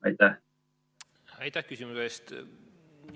Aitäh küsimuse eest!